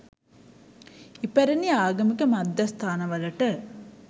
ඉපැරැණි ආගමික මධ්‍යස්ථානවලට